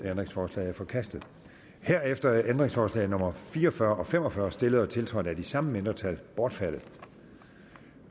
ændringsforslaget er forkastet herefter er ændringsforslag nummer fire og fyrre og fem og fyrre stillet og tiltrådt af de samme mindretal bortfaldet